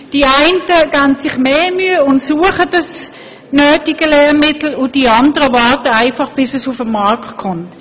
Die einen geben sich mehr Mühe und suchen das passende Lehrmittel, die anderen warten einfach, bis es auf den Markt kommt.